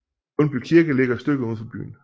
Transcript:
Lundby Kirke ligger et stykke uden for byen